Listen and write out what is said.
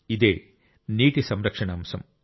ఇదే నీటి సంరక్షణ అంశం